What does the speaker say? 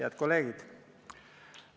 Head kolleegid!